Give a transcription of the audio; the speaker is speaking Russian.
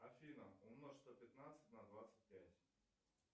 афина умножь сто пятнадцать на двадцать пять